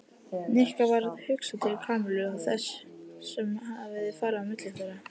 Nikka varð hugsað til Kamillu og þess sem hafði farið á milli þeirra.